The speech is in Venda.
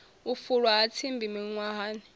u fulwa ha tsimbi miṅwahani